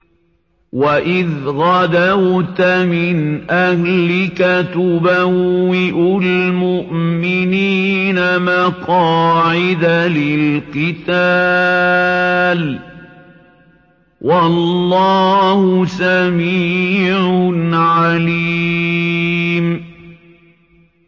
وَإِذْ غَدَوْتَ مِنْ أَهْلِكَ تُبَوِّئُ الْمُؤْمِنِينَ مَقَاعِدَ لِلْقِتَالِ ۗ وَاللَّهُ سَمِيعٌ عَلِيمٌ